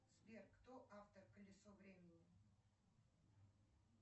сбер кто автор колесо времени